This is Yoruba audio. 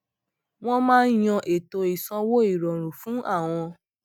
wọn máa yan ètò ìsanwó ìrọrùn fún àwọn